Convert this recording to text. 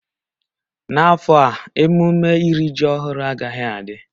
N'afọ a emume iri ji ọhụrụ agaghị adị.